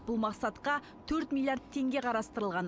бұл мақсатқа төрт миллиард теңге қарастырылған